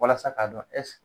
Walasa k'a dɔn ɛs